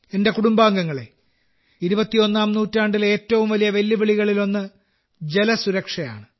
എന്റെ കുടുംബാംഗങ്ങളെ ഇരുപത്തിയൊന്നാം നൂറ്റാണ്ടിലെ ഏറ്റവും വലിയ വെല്ലുവിളികളിലൊന്ന് ജലസുരക്ഷയാണ്